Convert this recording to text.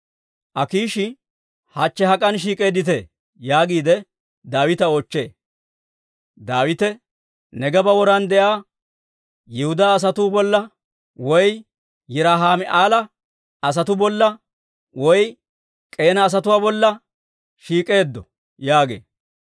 Akiishi, «Hachche hak'an shiik'eedditee?» yaagiide Daawita oochchee. Daawite, «Neegeeba woran de'iyaa Yihudaa asatuu bolla, woy Yiraahima'eela asatuu bolla, woy K'eena asatuwaa bolla shiik'eeddo» yaagee.